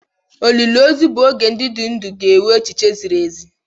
Olili ozu bụ oge ndị dị ndụ ga-enwe echiche ziri ezi.